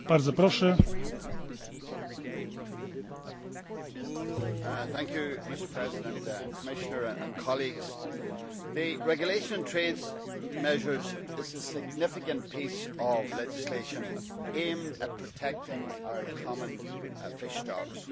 Mr President, Commissioner, colleagues, the regulation on trade measures is a significant piece of legislation aimed at protecting our common fish stocks.